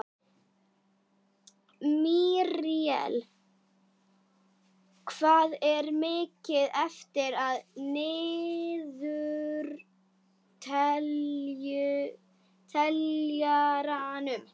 Míríel, hvað er mikið eftir af niðurteljaranum?